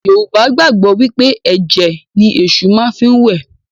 Yorùbá gbàgbọ́ wí pé ẹ̀jẹ̀ ni Èṣù má fi ń wẹ̀